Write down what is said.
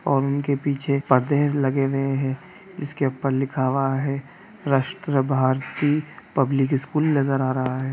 उनके पीछे पर्दे लगे हुए है जिसके ऊपर लिखा हुआ है राष्ट्र भारती पब्लिक स्कूल नज़र आ रहा है।